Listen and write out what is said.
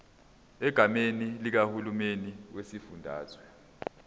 egameni likahulumeni wesifundazwe